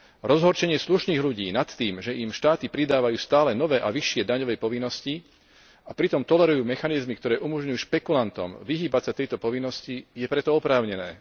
Rozhorčenie slušných ľudí nad tým, že im štáty pridávajú stále nové a vyššie daňové povinnosti a pritom tolerujú mechanizmy, ktoré umožňujú špekulantom vyhýbať sa tejto povinnosti, je preto oprávnené.